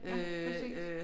Ja præcis